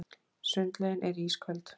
Sundlaugin er ísköld